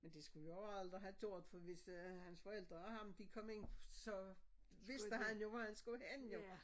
Men det skulle vi aldrig have gjort for hvis øh hans forældre og ham de kom ind så vidste han jo hvor han skulle hen jo